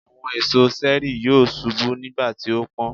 Àwọn èso ṣẹẹri yóò ṣubú nígbàtí ó pọ́n.